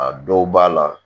A dɔw b'a la